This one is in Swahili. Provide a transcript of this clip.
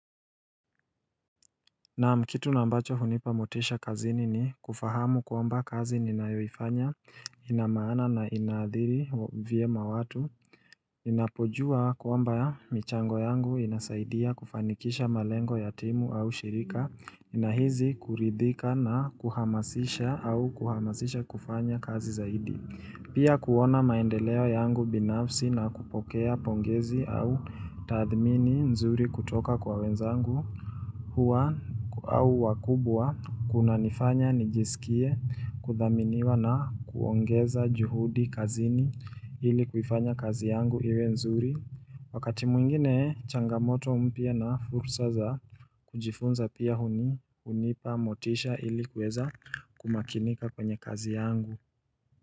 Naam kitu nambacho hunipa motisha kazini ni kufahamu kwamba kazi ninayoifanya inamaana na inadhiri vye mawatu. Ninapojua kwamba michango yangu inasaidia kufanikisha malengo yatimu au shirika. Ninahizi kuridhika na kuhamasisha au kuhamasisha kufanya kazi zaidi. Pia kuona maendeleo yangu binafsi na kupokea pongezi au tadhmini nzuri kutoka kwa wenzangu. Huwa au wakubwa kuna nifanya, nijisikie, kudhaminiwa na kuongeza juhudi kazini ili kuifanya kazi yangu iwe nzuri Wakati mwingine changamoto mpya na fursa za kujifunza pia huni unipa motisha ili kuweza kumakinika kwenye kazi yangu.